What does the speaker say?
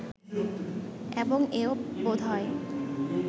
এবং এও বোধ হয়